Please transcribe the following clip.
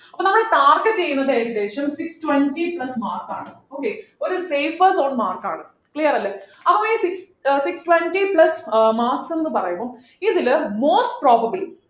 അപ്പം നമ്മള് pass ചെയ്യുന്നത് ഏകദേശം six twenty plus marks ആണ് okay ഒരു safer zone mark ആണ് clear അല്ലേ അപ്പൊ ഈ six uh Six twenty plus uh marks ന്നു പറയുമ്പോ ഇതില് most probably